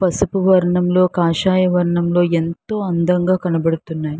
పసుపు వర్ణంలో కాషాయం వర్ణంలో ఎంతో అందంగా కనపదుతున్నాయి.